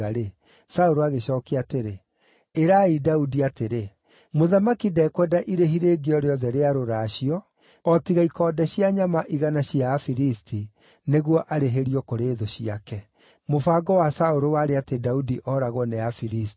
Saũlũ agĩcookia atĩrĩ, “Ĩrai Daudi atĩrĩ, ‘Mũthamaki ndekwenda irĩhi rĩngĩ o rĩothe rĩa rũracio o tiga ikonde cia nyama igana cia Afilisti, nĩguo arĩhĩrio kũrĩ thũ ciake.’ ” Mũbango wa Saũlũ warĩ atĩ Daudi oragwo nĩ Afilisti.